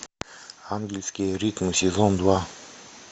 ангельские ритмы сезон два